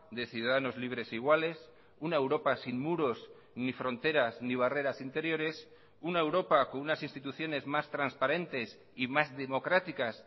de ciudadanos libres iguales una europa sin muros ni fronteras ni barreras interiores una europa con unas instituciones más transparentes y más democráticas